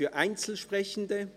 Gibt es Einzelsprechende?